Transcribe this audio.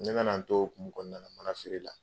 N nana n to o hukumu kɔnɔna na manafeere la